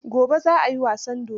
Gobe za a yi wasan dodon.